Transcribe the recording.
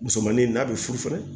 Musomanin n'a bɛ furufri